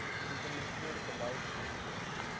implementeer beleid wetgewing